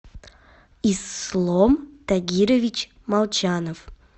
ислом тагирович молчанов